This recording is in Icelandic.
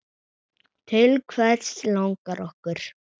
Til hvers langar okkur?